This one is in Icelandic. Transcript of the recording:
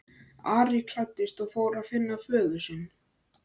Ari klæddist og fór að finna föður sinn.